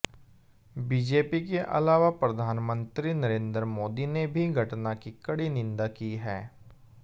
BJP के अलावा प्रधानमंत्री नरेंद्र मोदी ने भी घटना की कड़ी निंदा की है